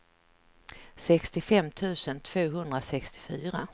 sextiofem tusen tvåhundrasextiofyra